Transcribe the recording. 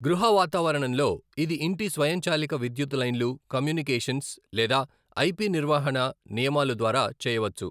గృహ వాతావరణంలో, ఇది ఇంటి స్వయంచాలిక విధ్యుత్ లైన్లు కమ్యూనికేషన్స్ లేదా ఐపి నిర్వహణ నియమాలు ద్వారా చేయవచ్చు.